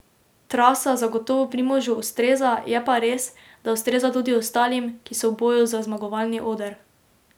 Trasa zagotovo Primožu ustreza, je pa res, da ustreza tudi ostalim, ki so v boju za zmagovalni oder.